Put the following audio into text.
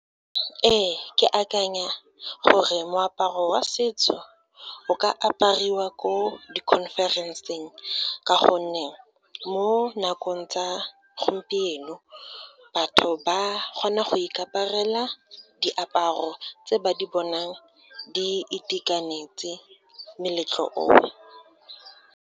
Ee, ke akanya gore moaparo wa setso, o ka apariwa ko di-conference-eng ka gonne mo nakong tsa gompieno, batho ba kgona go ikaparela diaparo tse ba di bonang di itekanetse, moletlo o.